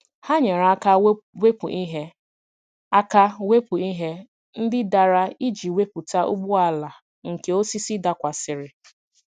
Ha nyere aka wepụ ihe aka wepụ ihe ndị dara iji wepụta ụgbọala nke osisi dakwasịrị.